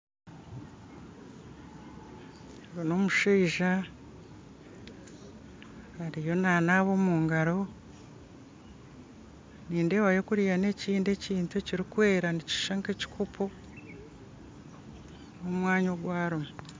Ogu n'omushaija ariyo nanaaba omu ngaro nindeebayo kuriya n'ekindi ekintu ekirikwera nikishusha nk'ekikopo omu mwanya ogu arimu